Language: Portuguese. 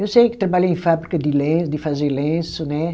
Eu sei que trabalhei em fábrica de lenço, de fazer lenço, né?